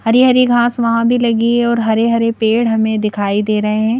हरी हरी घास वहां भी लगी है और हरे-हरे पेड़ हमें दिखाई दे रहे हैं।